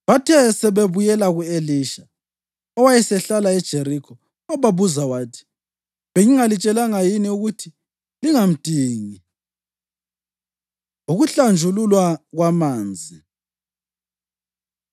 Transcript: Bathe sebebuyela ku-Elisha, owayesehlala eJerikho, wababuza wathi, “Bengingalitshelanga yini ukuthi lingamdingi?” Ukuhlanjululwa Kwamanzi